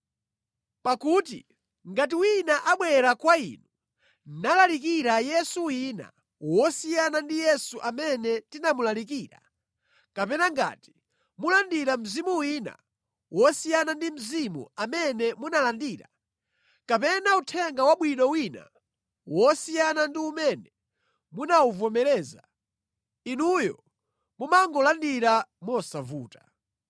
Pakuti ngati wina abwera kwa inu nalalikira Yesu wina wosiyana ndi Yesu amene tinamulalikira, kapena ngati mulandira mzimu wina wosiyana ndi Mzimu amene munalandira, kapena uthenga wabwino wina wosiyana ndi umene munawuvomereza, inuyo mumangolandira mosavuta.